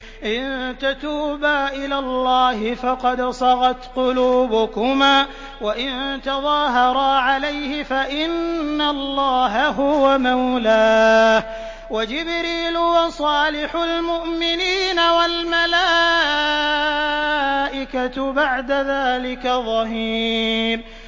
إِن تَتُوبَا إِلَى اللَّهِ فَقَدْ صَغَتْ قُلُوبُكُمَا ۖ وَإِن تَظَاهَرَا عَلَيْهِ فَإِنَّ اللَّهَ هُوَ مَوْلَاهُ وَجِبْرِيلُ وَصَالِحُ الْمُؤْمِنِينَ ۖ وَالْمَلَائِكَةُ بَعْدَ ذَٰلِكَ ظَهِيرٌ